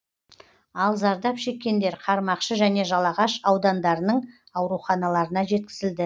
ал зардап шеккендер қармақшы және жалағаш аудандарының ауруханаларына жеткізілді